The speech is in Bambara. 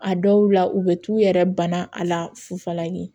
A dɔw la u bɛ t'u yɛrɛ bana a la fufalaki